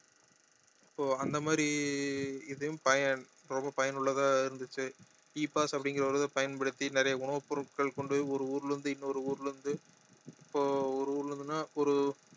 இப்போ அந்த மாதிரி இதையும் பயன்~ ரொம்ப பயனுள்ளதா இருந்துச்சு E pass அப்படிங்கற ஒரு இத பயன்படுத்தி நிறைய உணவு பொருட்கள் கொண்டு போய் ஒரு ஊர்ல இருந்து இன்னொரு ஊர்ல இருந்து இப்ப ஒரு ஊர்ல இருந்துனா ஒரு